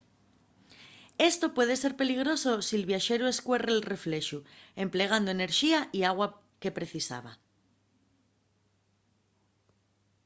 esto puede ser peligroso si’l viaxeru escuerre’l reflexu emplegando enerxía y agua que precisaba